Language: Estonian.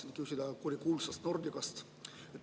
Tahan küsida kurikuulsa Nordica kohta.